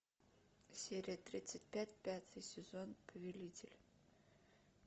серия тридцать пять пятый сезон повелитель